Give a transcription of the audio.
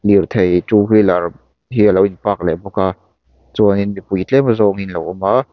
lirthei two wheeler hi alo in park leh bawka chuanin mipui tlemazawng hi an lo awm a.